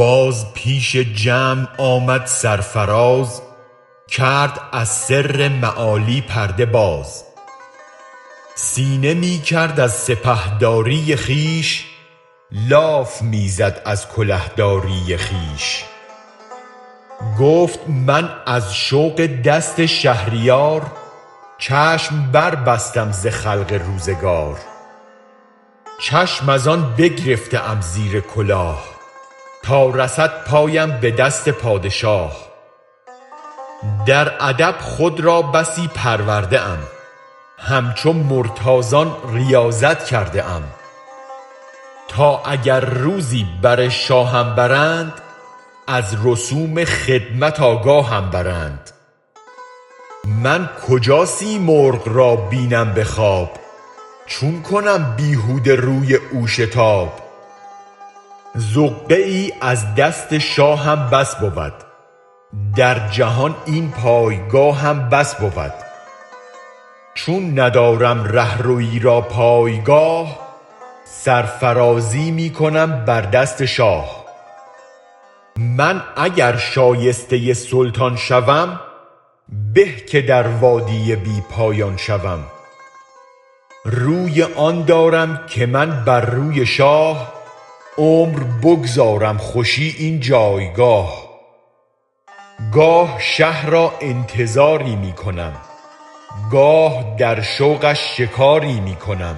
باز پیش جمع آمد سرفراز کرد از سر معالی پرده باز سینه می کرد از سپه داری خویش لاف می زد از کله داری خویش گفت من از شوق دست شهریار چشم بربستم ز خلق روزگار چشم از آن بگرفته ام زیر کلاه تا رسد پایم به دست پادشاه در ادب خود را بسی پرورده ام همچو مرتاضان ریاضت کرده ام تا اگر روزی بر شاهم برند از رسوم خدمت آگاهم برند من کجا سیمرغ را بینم به خواب چون کنم بیهوده سوی او شتاب زقه ای از دست شاهم بس بود در جهان این پایگاهم بس بود چون ندارم رهروی را پایگاه سرفرازی می کنم بر دست شاه من اگر شایسته سلطان شوم به که در وادی بی پایان شوم روی آن دارم که من بر روی شاه عمر بگذارم خوشی این جایگاه گاه شه را انتظاری می کنم گاه در شوقش شکاری می کنم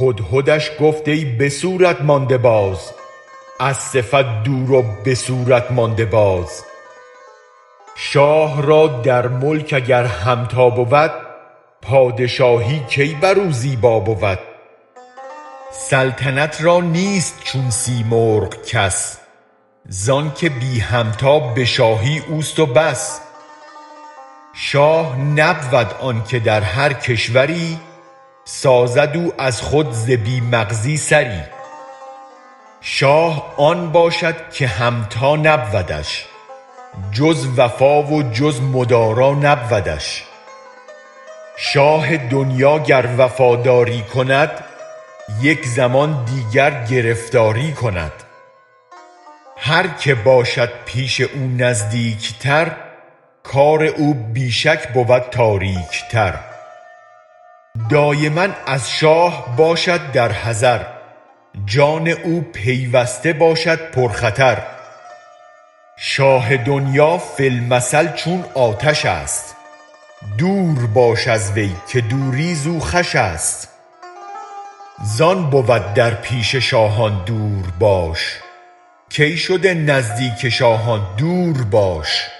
هدهدش گفت ای به صورت مانده باز از صفت دور و به صورت مانده باز شاه را در ملک اگر همتا بود پادشاهی کی بر او زیبا بود سلطنت را نیست چون سیمرغ کس زآنک بی همتا به شاهی اوست و بس شاه نبود آنک در هر کشوری سازد او از خود ز بی مغزی سری شاه آن باشد که همتا نبودش جز وفا و جز مدارا نبودش شاه دنیا گر وفاداری کند یک زمان دیگر گرفتاری کند هرک باشد پیش او نزدیک تر کار او بی شک بود تاریک تر دایما از شاه باشد بر حذر جان او پیوسته باشد پر خطر شاه دنیا فی المثل چون آتش است دور باش از وی که دوری زو خوش است زآن بود در پیش شاهان دور باش کای شده نزدیک شاهان دور باش